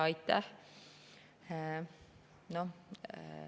Aitäh!